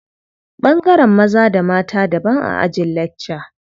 Ɓangaren maza da mata daban a ajin lakca.